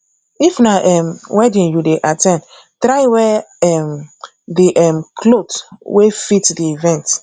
if na um wedding you dey at ten d try wear um di um cloth wey fit di event